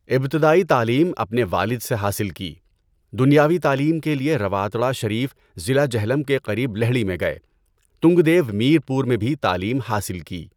ابتدائی تعلیم اپنے والد سے حاصل کی۔ دنیاوی تعلیم کے لیے رواتڑہ شریف ضلع جہلم کے قریب لہڑی میں گئے۔ تنگدیو میرپور میں بھی تعلیم حاصل کی۔